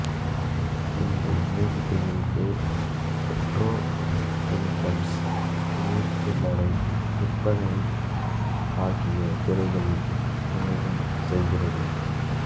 இன்று எண்ணெய் சுத்திகரிப்பு பெட்ரோகெமிகல்ஸ் துணிசில்லறை விற்பனை ஆகிய துறைகளில் வணிகம் செய்கிறது